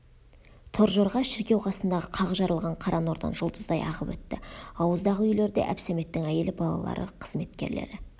торжорға шіркеу қасындағы қақ жарылған қара нордан жұлдыздай ағып өтті ауыздағы үйлерде әбсәметтің әйелі балалары қызметкерлері